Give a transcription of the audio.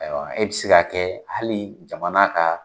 E bɛ se ka kɛ hali jamana ka